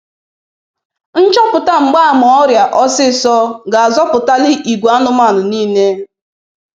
Nchọpụta mgbaama ọrịa ọsịsọ ga-azọpụtali igwe anụmanụ niile.